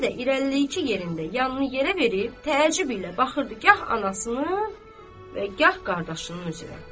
Fizzə də irəliləyib yerində, yanını yerə verib, təəccüblə baxırdı gah anasının və gah qardaşının üzünə.